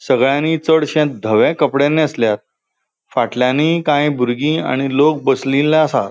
संगळ्यानि चडशे धवे कपड़े नेसल्यात फाटल्यानि काई बुर्गी आणि लोक बसलील्ले आसा.